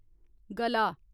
गला